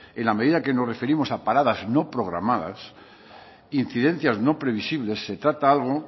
en la medida que nos referimos a paradas no programadas incidencias no previsibles se trata algo